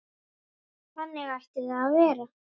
Þannig ætti það að vera.